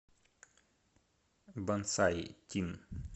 бонсай тин